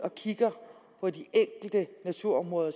og kigger på de enkelte naturområder